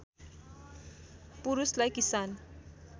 पुरूषलाई किसान